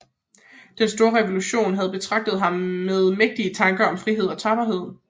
Den store revolution havde betaget ham med mægtige tanker om frihed og tapperhed